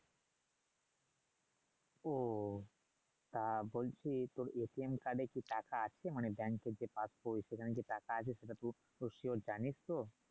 ওহ তা বলছি তোর এ কি টাকা আছে মানে ব্যাংকে যে সেখানে কি টাকা আছে সেটা তুই সিওর জানিস তো